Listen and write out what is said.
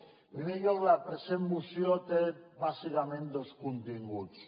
en primer lloc la present moció té bàsicament dos continguts